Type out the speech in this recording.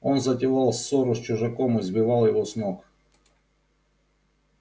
он затевал ссору с чужаком и сбивал его с ног